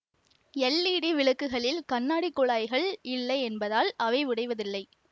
LED விளக்குகளில் கண்ணாடி குழாய்கள் இல்லை என்பதால் அவை உடைவதில்லை